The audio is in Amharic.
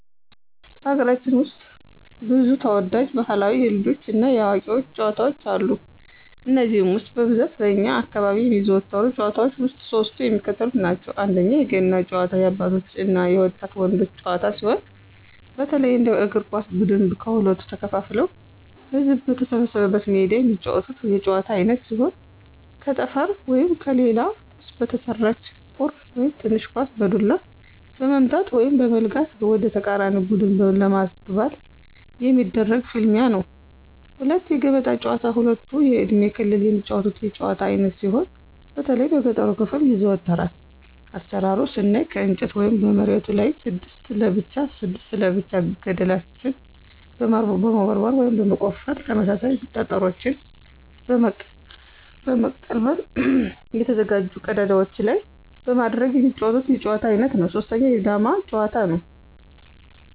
በሀገራችን ውስጥ ብዙ ተወዳጅ ባህላዊ የልጆች እና የአዋቂዎች ጨዋታዎች አሉ። ከነዚህም ውስጥ በብዛት በእኛ አካባቢ የሚዘወተሩ ጭዋታዎች ውስጥ ሶስቱ የሚከተሉትን ናቸው፦ 1=የገና ጨዋታ- የአባቶች እና የወጣት ወንዶች ጨዋታ ሲሆን፣ በተለይ እንደ እግር ኳስ ብድን ከሁለት ተከፋፍለው ህዝብ በተሰበሰበበት ሜዳ የሚጫወቱት የጨዋታ አይነት ሲሆን ከጠፍር ወይም ከሌላ ቁስ በተሰራች ቁር (ትንሽ ኳስ) በዱላ በመምታት(በመለጋት) ወደተቃራኒ ቡድን ለማግባት የሚደረግ ፍልሚያ ነው። 2=የገበጣ ጨዋታ ሁሉም የእድሜ ክልል የሚጫወቱት የጭዋታ አይነት ሲሆን በተለይ በገጠሩ ክፍል ይዘወተራል። አሰራሩን ስናይ ከእንጨት ወይም መሬቱ ላይ 6 ለብቻ 6 ለብቻ ገደልችን በመቦርቦር (በመቆፈር) ተመሳሳይ ጠጠሮችን በመልቀም በተዘጋጁ ቀዳዳዎች ላይ በማድረግ የሚጫወቱት የጨዋታ አይነት ነው። 3=የዳማ ጭዋታ; ነው።